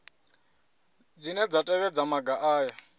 dzine dza tevhedza maga aya